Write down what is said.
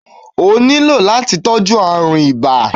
O ní lò láti tọ́jú árùn ibà